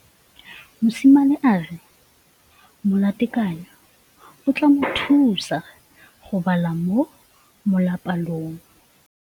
Mosimane a re molatekanyô o tla mo thusa go bala mo molapalong.